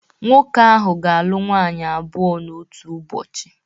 Nwoke ahụ ga-alụ nwaanyị abụọ n’otu ụbọchị